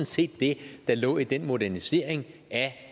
set det der lå i den modernisering af